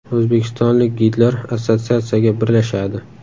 O‘zbekistonlik gidlar assotsiatsiyaga birlashadi.